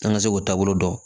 An ka se k'o taabolo dɔn